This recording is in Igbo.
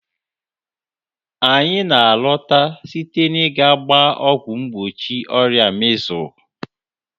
Anyị na-alọta site n'ịga gbaa ọgwụ mgbochi ọrịa measles.